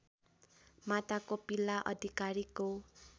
माता कोपिला अधिकारीको